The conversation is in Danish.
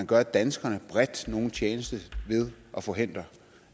gør danskerne nogen tjeneste ved at forhindre